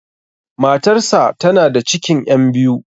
Matar sa tana da cikin 'yan biyu.